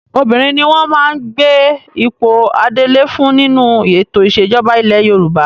Obìnrin ni wọ́n máa gbé ipò adelé fún nínú ètò ìṣẹ̀jọba ilẹ̀ Yorùbá.